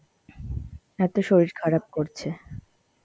এত শরীর খারাপ করছে.